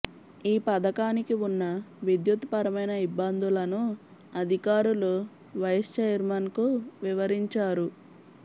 ఈ పథకానికి ఉన్న విద్యుత్ పరమైన ఇబ్బందులను అధికారులు వైస్ చైర్మన్కు వివరించారు